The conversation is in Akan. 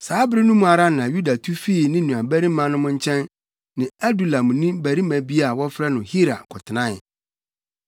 Saa bere no mu ara na Yuda tu fii ne nuabarimanom no nkyɛn ne Adulamni barima bi a wɔfrɛ no Hira kɔtenae.